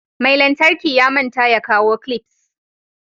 Mai lantarki ya manta ya kawo "clips".